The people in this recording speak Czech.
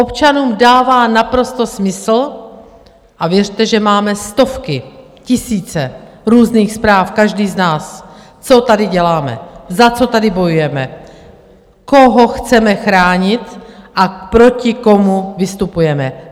Občanům dává naprosto smysl - a věřte, že máme stovky, tisíce různých zpráv každý z nás - co tady děláme, za co tady bojujeme, koho chceme chránit a proti komu vystupujeme.